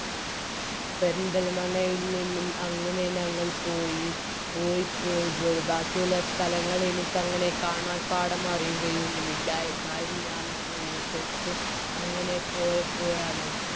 പെരിന്തൽമണ്ണയിൽ നിന്നും അങ്ങനെ ഞങ്ങൾ പോയി പോയി പോയി പോയി ബാക്കിയുള്ള സ്ഥലങ്ങൾ എനിക്കങ്ങനെ കാണാപ്പാഠം അറിയുകയൊന്നും ഇല്ല എന്നാലും ഞാനങ്ങനെ ഓർത്തെടുത്ത് അങ്ങനെ പോയപ്പോഴാണ്